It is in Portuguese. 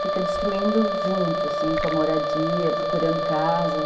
Fica destruindo junto, assim, com a moradia, procurando casa.